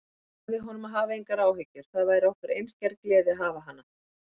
Ég sagði honum að hafa engar áhyggjur, það væri okkur einskær gleði að hafa hana.